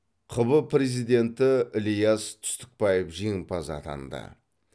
қб президенті ілияс түстікбаев жеңімпаз атанды